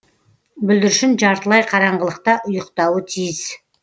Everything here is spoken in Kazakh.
бүлдіршін жартылай қараңғылықта ұйықтауы тиіс